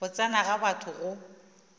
go tsena ga batho go